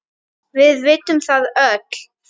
Við vitum það öll.